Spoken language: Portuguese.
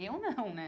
Eu não, né?